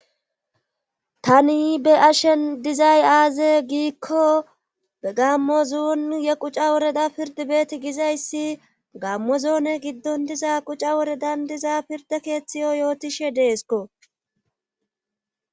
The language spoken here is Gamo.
Tani be ashen dizay aaze giikko be gammo zuun ye quca woreda pirdibeeti gizayssi gammo zoone giddon diza quca woredan diza pirde keeththiyo yootishe deesko.